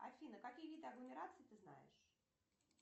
афина какие виды агломераций ты знаешь